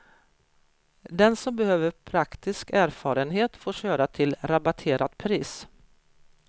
Den som behöver praktisk erfarenhet får köra till rabatterat pris.